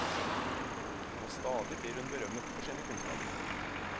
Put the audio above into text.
Og stadig blir hun berømmet for sine kunnskaper.